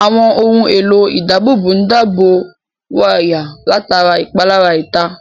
Àwọn ohun èlò ìdábòbò ń dábò wáyà látara ìpalára ìta